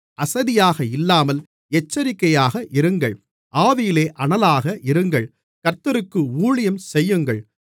அசதியாக இல்லாமல் எச்சரிக்கையாக இருங்கள் ஆவியிலே அனலாக இருங்கள் கர்த்தருக்கு ஊழியம் செய்யுங்கள்